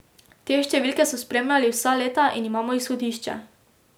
Te številke so spremljali vsa leta in imamo izhodišče.